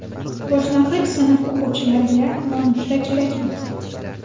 Boshlang‘ich sinf o‘quvchilariga nonushta kerakmi?.